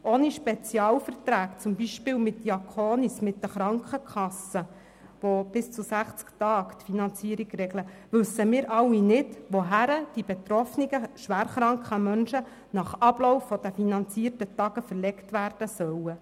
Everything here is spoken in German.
Ohne Spezialverträge zum Beispiel mit Diakonis oder mit den Krankenkassen, die die Finanzierung bis zu 60 Tagen regeln, wissen wir alle nicht, wohin die betroffenen schwer kranken Menschen nach Ablauf der finanzierten Tage verlegt werden sollen.